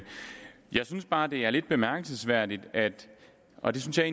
jeg synes bare at det her er lidt bemærkelsesværdigt og det synes jeg